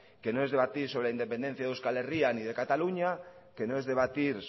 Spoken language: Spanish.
que no es debatir sobre la independencia de euskal herria ni de cataluña que no es debatir